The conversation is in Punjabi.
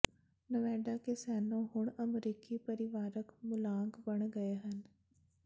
ਨੇਵਾਡਾ ਕੈਸੀਨੋ ਹੁਣ ਅਮਰੀਕੀ ਪਰਿਵਾਰਕ ਮੁੱਲਾਂਕ ਬਣ ਗਏ ਹਨ